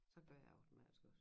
Så gør jeg jo den altså også